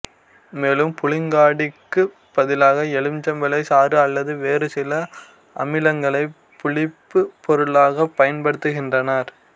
மேலும் புளிங்காடிக்குப் பதிலாக எலுமிச்சை சாறு அல்லது வேறு சில அமிலங்களைப் புளிப்புப் பொருளாகப் பயன்படுத்துகின்றனர்